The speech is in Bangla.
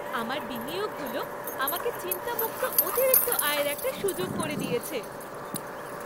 আমার বিনিয়োগগুলো আমাকে চিন্তামুক্ত অতিরিক্ত আয়ের একটা সুযোগ করে দিয়েছে।